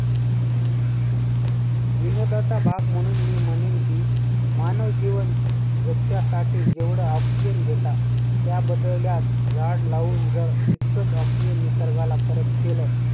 विनोदाचा भाग म्हणून मी म्हणेन की मानव जीवन जगण्यासाठी जेवढं oxygen घेतात त्या बदलल्यास झाड लावून जर तितकचं oxygen निसर्गाला परत केलं,